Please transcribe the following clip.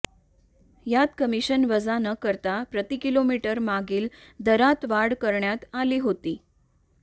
यात कमिशन वजा न करता प्रति किलोमीटरमागील दरात वाढ करण्यात आली होती